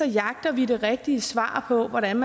jagter vi det rigtige svar på hvordan